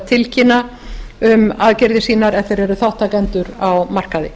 tilkynna um aðgerðir sínar ef þeir eru þátttakendur á markaði